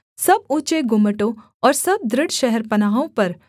सब ऊँचे गुम्मटों और सब दृढ़ शहरपनाहों पर